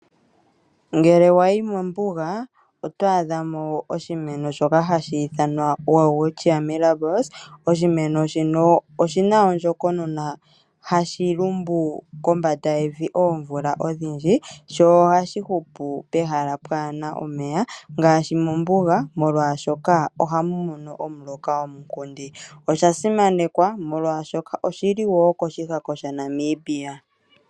Ngele wa yi mombuga oto adha mo oshimeno shoka hashi ithanwa welwitchia mirabilis. Oshimeno shino oshi na ondjokonona hashi lumbu kombanda yevi oomvula odhindji sho ohashi hupu pehala pwaa na omeya ngaashi mombuga, molwashoka ohamu mono omuloka omunkundi. Osha simanekwa, molwashoka oshi li wo koshihako shaNamibia.